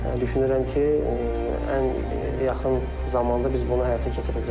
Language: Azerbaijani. Düşünürəm ki, ən yaxın zamanda biz bunu həyata keçirəcəyik.